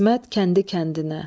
İsmət kəndi kəndinə.